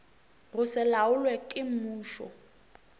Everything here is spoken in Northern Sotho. go se laolwe ke mmušo